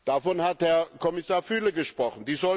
Davon hat Herr Kommissar Füle gesprochen.